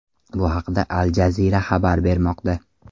Bu haqda Al Jazeera xabar bermoqda .